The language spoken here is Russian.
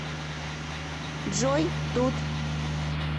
джой тут